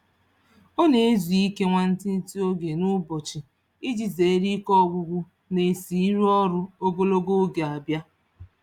Ọ na-ezu ike nwantiti oge n'ụbọchị iji zeere ike ọgwụgwụ na-esi iru ọrụ ogologo oge abịa.